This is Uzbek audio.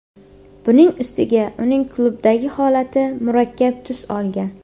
Buning ustiga uning klubdagi holati murakkab tus olgan.